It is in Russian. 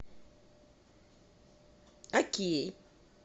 окей